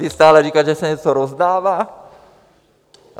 Vy stále říkáte, že se něco rozdává.